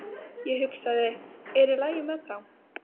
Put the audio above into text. Ég hugsaði, er í lagi með þá?